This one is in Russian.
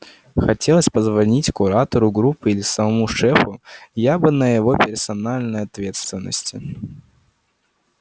хотелось позвонить куратору группы или самому шефу я бы на его персональной ответственности